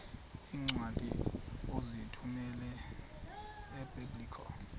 iincwadi ozithumela ebiblecor